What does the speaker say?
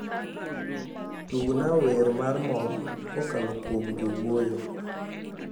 tugna wer mar mor kokalo kuom jowuoyo